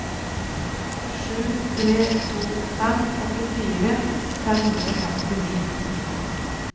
sju tre to fem åttifire fem hundre og femtini